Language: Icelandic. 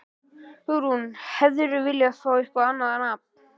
Hugrún: Hefðirðu viljað fá eitthvað annað nafn?